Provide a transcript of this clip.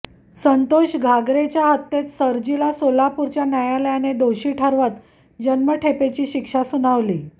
संतोष घागरेच्या हत्येत सरजीला सोलापूरच्या न्यायालयाने दोषी ठरवत जन्मठेपेची शिक्षा सुनावली